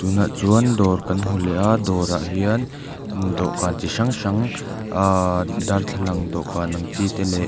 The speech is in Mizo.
nah chuan dawr kan hmu leh a dawrah hian dawhkan chi hrang hrang ahhh darthlalang dawhkan ang chi te leh--